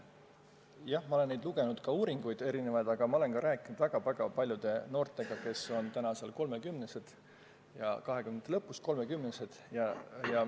Jah, ma olen erinevaid uurimusi lugenud, aga ma olen ka rääkinud väga-väga paljude noortega, kes on praegu kahekümnendate lõpus või kolmekümnesed.